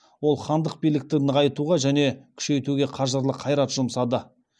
ол хандық билікті нығайтуға және күшейтуге қажырлы қайрат жұмсады